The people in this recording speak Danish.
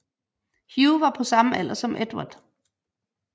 Hugh var på samme alder som Edvard